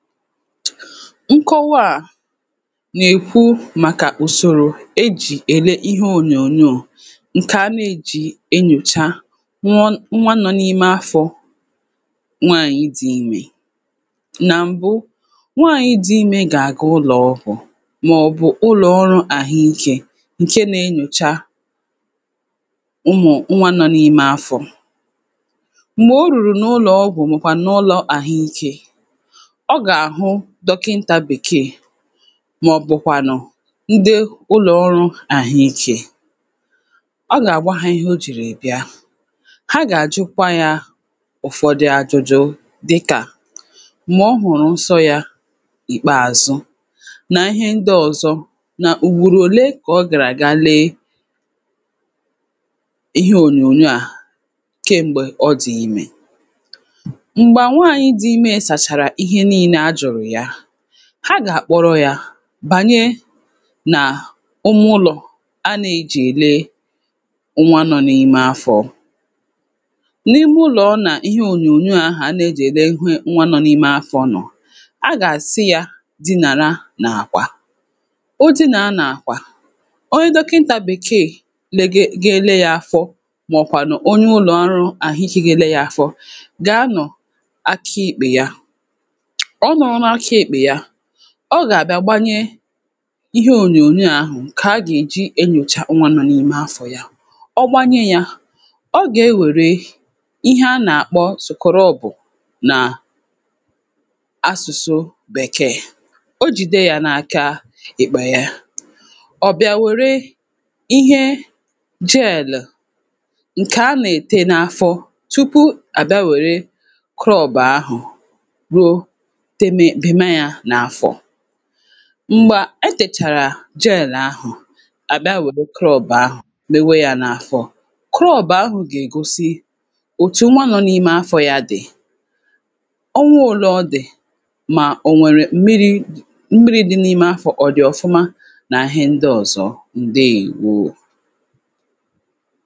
nkọwa à nà-èkwu màkà ùsòrò ejì èle ihe ònyònyò ǹkè a na-ejì enyòcha nwa nnwa nọ n’ime afọ̄ nwaanyị̀ di imē nà m̀bu nwaanyị̀ di imē gà-àga ụlọ̀ ọgwụ̀ màọbụ̀ ụlọ ọrụ̄ àhụ ikē ǹkè na-enyòcha umù nnwa nọ n’ime afọ̄ m̀gbè o rùrù n’ụlọ ọgwụ̀ màọkwànù n’ụlọ̄ àhụ ikē ọ gà-àhụ dọkịnta bèkee màọbụ̀kwànụ̀ ndị ụlọ̀ ọrụ àhụ ikē ọ gà-àgwa ha ihe o jìrì bịa ha gà-àjụkwa yā ụ̀fọdụ ajụjụ dịkà m̀gbè ọ hụ̀rụ̀ nsọ yā ìkpeàzụ nà ihe ndị ọ̀zọ nà ùgbòrò òle kà ọ gàrà gaa lee ihe ònyònyò aghà kem̀gbe ọ dì imē m̀gbè nwaanyị̀ di ime sàchàrà ihe niilē a jùrù ya ha gà-àkpọrọ yā bànye nà umu ụlọ̀ a na-ejì èle nnwa nọ n’ime afọ̄ n’ime ụlọ ọ nà ihe ònyònyò aghà a na-ejì ele ihu nnwa nọ n’ime afọ̄ nọ̀ a gà-àsị yā dịnàra n’àkwà ọ dịnàra n’àkwà onye dọkịnta bèkee lege ga-ele ya afọ maọkwànụ̀ onye ụlọ̀ ọrụ àhụ ikē ga-ele ya afọ gà-anọ̀ akị èkpè ya ọ nọ̀rọ n’aka èkpè ya ọ gà-àbịa gbanye ihe ònyònyò ahụ̀ ǹkè a gà-èji enyòcha nnwa nọ n’ime afọ̄ ya ọ gbanye ya ọ gà-ewère ihe a nà-àkpọ scrub nà asụ̀sụ bèkee o jìde ya n’aka ìkpè ya ọ̀ bịa wère ihe gel ǹkè a nà-ète n’afọ tupu à bịa wère crub ahụ̀ ruo teme bịàma yā n’afọ m̀gbà e tèchàrà gel ahụ̀ à bịa wère crub ahụ̀ mewe ya n’afọ crub ahụ̀ gà-ègosi òtù nnwa nọ n’ime afọ̄ ya dì ọ wuru òle ọ dì mà ọ nwèrè mmịrị̄ di mmịrị̄ di n’ime afọ̄ kà ọ̀ dị̀ ọ̀fụma nà ihe ndị ọ̀zọ ǹdewo